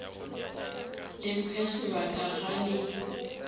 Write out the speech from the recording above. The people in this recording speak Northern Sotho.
le mphe sebaka ga le